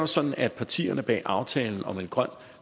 sådan at partierne bag aftalen om en grøn